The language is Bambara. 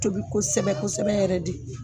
Tobi kosɛbɛ kosɛbɛ yɛrɛ de.